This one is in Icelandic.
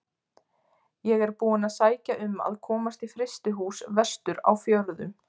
Ég er búinn að sækja um að komast í frystihús vestur á fjörðum.